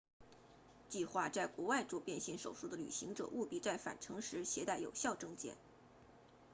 计划在国外做变性手术的旅行者务必在返程时携带有效证件